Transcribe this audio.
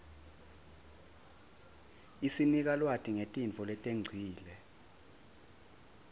isinika lwati ngetintfo letengcile